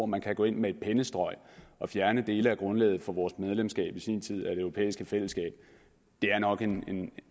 man kan gå ind med et pennestrøg og fjerne dele af grundlaget for vores medlemskab i sin tid af det europæiske fællesskab er nok